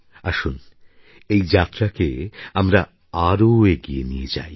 আসুন এই যাত্রাকে আমরা আরও এগিয়ে নিয়ে যাই